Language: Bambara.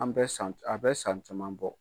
An bɛ san, a bɛ san caman bɔ.